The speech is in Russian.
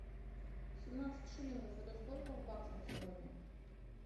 семнадцать шиллингов это сколько в баксах сегодня